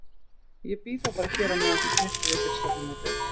Ég bíð þá bara hér á meðan þú snyrtir þig fyrir stefnumótið.